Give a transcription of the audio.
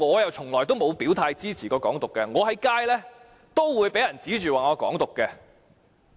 我從來沒有表態支持"港獨"，但在街上也曾被人指罵是"港獨"分子。